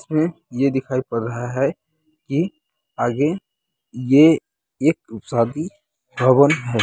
इसमें ये दिखाई पड़ रहा है की आगे ये एक शादी भवन है।